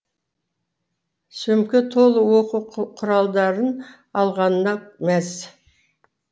сөмке толы оқу құралдарын алғанына мәз